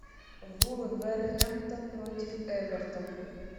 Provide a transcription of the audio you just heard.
вулверхэмптон против эвертона